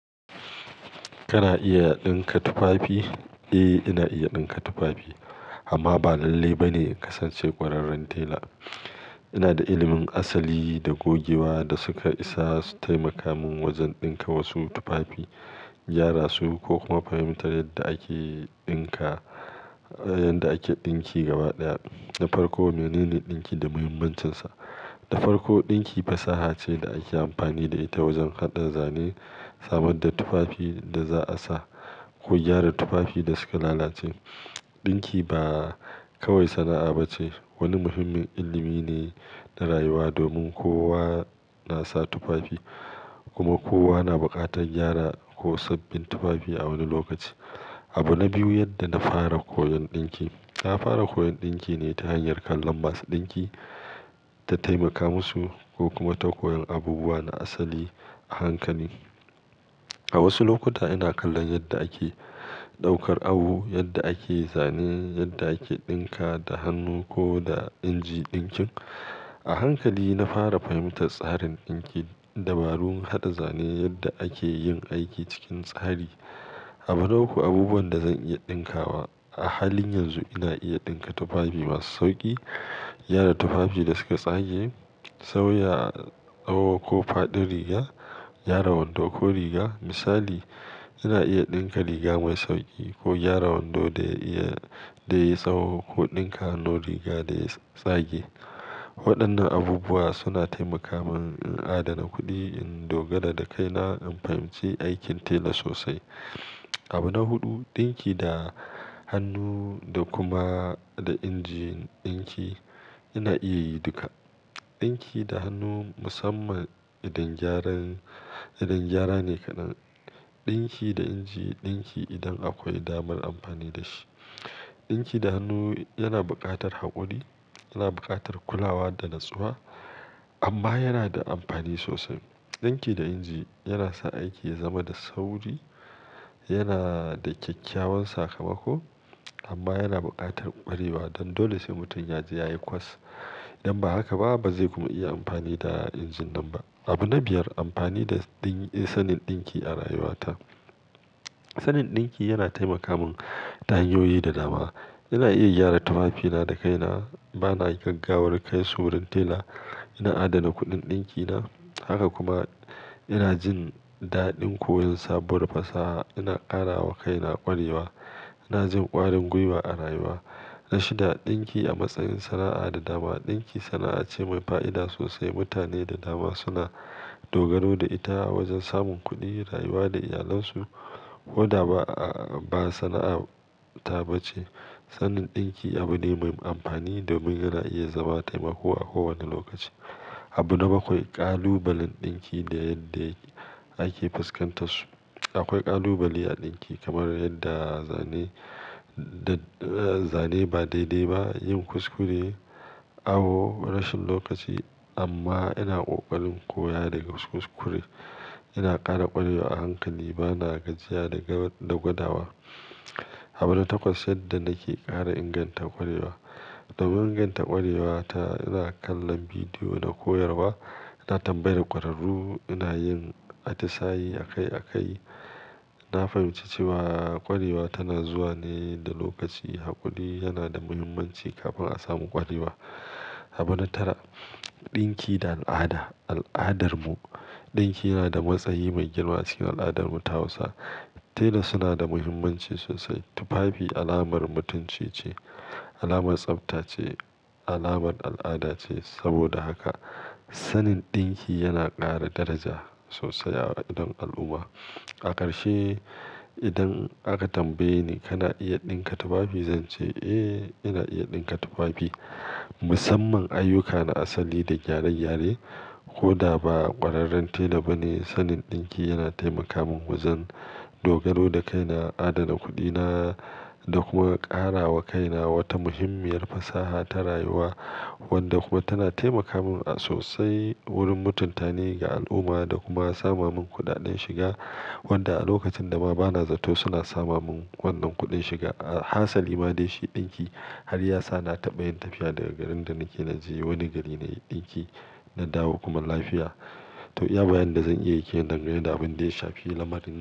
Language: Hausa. Kana iya ɗinka tufafi? Eh, ina iya ɗinka tufafi amma ba lalle ba ne kasance kwararren tela. Ina da ilimin asali da gogewa da suka isa su taimaka min wajen ɗinka wasu tufafi, gyara su ko kuma fahimtar yadda ake ɗinka, yadda ake ɗinki gaba ɗaya. Na farko menene ɗinki da muhimmancinsa? Na farko, ɗinki fasaha ce da ake amfani da ita wajen haɗa zane, samar da tufafi da za a sa ko gyara tufafi da suka lalace. Ɗinki ba kawai sana'a bace, wani muhimmin ilimi ne na rayuwa domin kowa na sa tufafi kuma kowa na buƙatar gyara ko sabbin tufafi a wani lokaci. Abu na biyu, yadda na fara koyon ɗinki. Na fara koyon ɗinki ne ta hanyar kallon masu ɗinki ta taimaka musu ko kuma ta koyon abubuwa na asali a hankali. A wasu lokuta ina kallon yadda ake ɗaukar awo, yadda ake zane, yadda ake ɗinka da hannu ko da inji ɗinkin. A hankali na fara fahimtar tsarin ɗinki, dabarun haɗa zane, yadda ake yin aiki cikin tsari. Abu na uku, abubuwan da zan iya ɗinka wa. A halin yanzu ina iya ɗinka tufafi masu sauƙi, gyara tufafi da suka tsage, sauya tsaho ko faɗin riga, gyara wando ko riga. Misali, ina iya ɗinka riga mai sauƙi ko gyara wando da ya iya, da yayi tsaho ko ɗinka hannun riga da ya tsage. Waɗannan abubuwa suna taimaka min in adana kuɗi, in dogara da kaina, in fahimci aikin tela sosai. Abu na hudu, ɗinki da hannu da kuma da injin ɗinki. Ina iya yi duka. Ɗinki da hannu musamman idon gyaran, idon gyara ne kadan. Ɗinki da inji ɗinki idan akwai damar amfani da shi. Ɗinki da hannu yana buƙatar haƙuri, yana buƙatar kulawa da natsuwa amma yana da amfani sosai. Ɗinki da inji yana sa aiki ya zama da sauri, yana da kyakkyawan sakamako amma yana buƙatar ƙwarewa don dole sai mutum ya je yayi course. Idan ba haka ba, ba zai kuma iya amfani da injin nan ba. Abu na biyar, amfani da sanin ɗinki a rayuwa ta. Sanin ɗinki yana taimaka mun ta hanyoyi da dama. Ina iya gyara tufafina da kaina, bana gaggawar kaisu gurin tela, ina adana kuɗin ɗinkina haka kuma ina jin daɗin koyon sabuwar fasaha. Ina ƙara wa kaina ƙwarewa, ina jin ƙwarin gwiwa a rayuwa. Na shida, ɗinki a matsayin sana'a da dama. Ɗinki sana'a ce mai fa'ida sosai. Mutane da dama suna dogaro da ita a wajen samun kuɗi, rayuwa da iyalansu. Koda ba, ba sana'a ta bace. Sanin ɗinki abu ne mai amfani domin yana iya zama taimako a kowane lokaci. Abu na bakwai, ƙalubalen ɗinki da yadda ake fuskantar su. Akwai ƙalubale a ɗinki kamar yadda zane, zane ba daidai ba, yin kuskure, awo, rashin lokaci amma ina ƙoƙarin koya daga kuskure. Ina ƙara ƙwarewa a hankali, bana gajiya daga, da gwadawa. Abu na takwas, yadda nake ƙara inganta ƙwarewa. Domin inganta ƙwarewa ta ina kallon bidiyo da koyarwa, ina tambayi ƙwararru, ina yin atisaye akai akai. Na fahimci cewa ƙwarewa tana zuwa ne da lokaci. Haƙuri yana da muhimmanci kafin a samu ƙwarewa. Abu na tara, ɗinki da al'ada. Al'adarmu, ɗinki yana da matsayi mai girma cikin al'adar mu ta Hausa. Tela suna da muhimmanci sosai. Tufafi alamar mutunci ce, alamar tsafta ce, alamar al'ada ce. Saboda haka sanin ɗinki yana ƙara daraja sosai a idon al'umma. A ƙarshe, idan aka tambaye ni kana iya ɗinka tufafi, zan ce eh ina iya ɗinka tufafi musamman ayyuka na asali da gyare-gyare koda ba ƙwararren tela bane. Sanin ɗinki yana taimaka mun wajen dogaro da kaina, adana kuɗina da kuma ƙara wa kaina wata muhimmiyar fasaha ta rayuwa wadda kuma tana taimaka mun sosai wurin mutunta ni ga al'umma da kuma sama mun kuɗaɗen shiga wanda a lokacin da ma bana zato suna sama mun wannan kuɗin shiga. Hasali ma dai shi ɗinki har yasa na taɓa yin tafiya daga garin da nake na je wani gari na yi ɗinki, na dawo kuma lafiya. To, iya bayanin da zan iya yake dangane da abin da ya shafi lamarin nan.